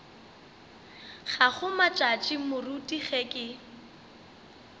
gago matšatši moruti ge ke